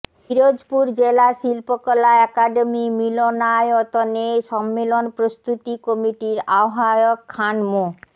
পিরোজপুর জেলা শিল্পকলা একডেমি মিলনায়তনে সম্মেলন প্রস্তুতি কমিটির আহবায়ক খান মো